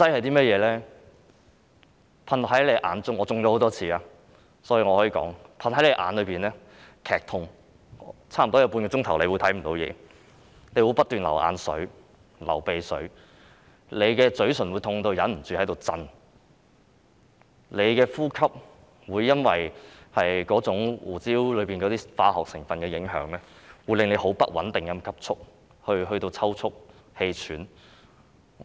當噴到眼睛，會感到劇痛，差不多有半小時會看不到東西，不斷流眼水、流鼻水，嘴唇會痛得忍不住顫抖，呼吸會因為胡椒噴劑中的化學成分而受影響，變得不穩定，甚至抽促、氣喘。